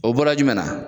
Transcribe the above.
O bɔra jumɛn na